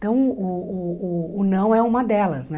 Então, o o o não é uma delas, né?